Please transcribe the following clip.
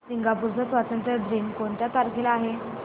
Singapore चा स्वातंत्र्य दिन कोणत्या तारखेला आहे